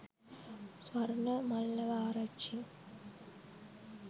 swarna mallawa arachchi